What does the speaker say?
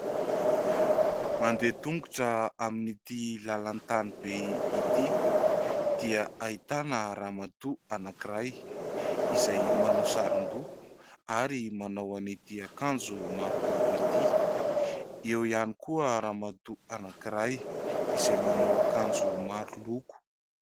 Mandeha tongotra amin'ity lalan-tany be ity dia ahitana ramatoa anankiray izay manao sarin-doha ary manao an'ity akanjo maro loko ity. Eo ihany koa ramatoa anankiray izay manao akanjo maro loko.